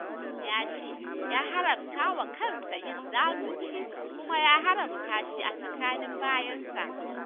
Allah ya ce" ya haramtawa kansa yin zalunci, kuma ya haramta shi a tsakanin bayinsa".